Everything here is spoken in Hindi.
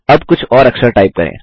अब कुछ और अक्षर टाइप करें